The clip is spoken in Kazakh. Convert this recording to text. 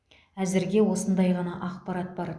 әзірге осындай ғана ақпарат бар